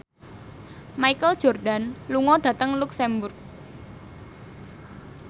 Michael Jordan lunga dhateng luxemburg